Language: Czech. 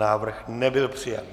Návrh nebyl přijat.